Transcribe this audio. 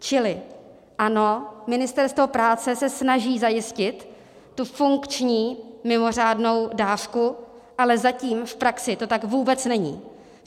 Čili ano, Ministerstvo práce se snaží zajistit tu funkční mimořádnou dávku, ale zatím v praxi to tak vůbec není.